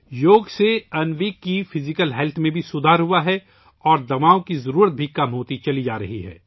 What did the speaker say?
یوگا سے انوی کی جسمانی صحت میں بھی بہتری آئی ہے اور ادویات کی ضرورت بھی کم ہو رہی ہے